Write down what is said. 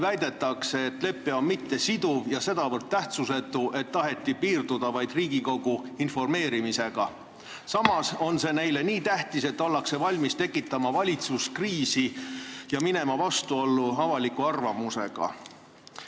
Väidetakse, et lepe on mittesiduv ja sedavõrd tähtsusetu, et taheti piirduda vaid Riigikogu informeerimisega, samas on see neile nii tähtis, et ollakse valmis tekitama valitsuskriisi ja minema vastuollu avaliku arvamusega.